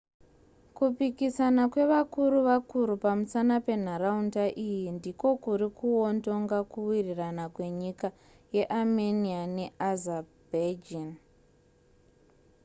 kupikisana kwevakuru vakuru pamusana penharaunda iyi ndiko kuri kuwondonga kuwirirana kwenyika yearmenia neazerbaijan